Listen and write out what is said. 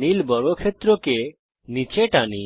নীল বর্গক্ষেত্রকে নিচে টানি